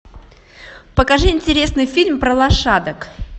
покажи интересный фильм про лошадок